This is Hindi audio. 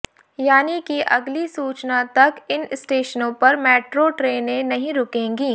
यानि कि अगली सूचना तक इन स्टेशनों पर मेट्रो ट्रेने नहीं रुकेंगी